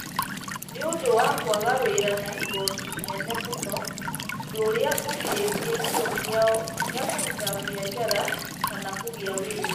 Nĩ ũndũ wa kwaga wĩra na igooti inene mũno, ũndũ ũrĩa ũgirĩtie kĩyo kĩao gĩa kũruta biacara kana kũgĩa wĩra.